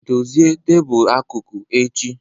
Dozie tebul akụkụ echi!